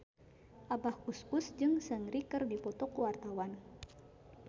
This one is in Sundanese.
Abah Us Us jeung Seungri keur dipoto ku wartawan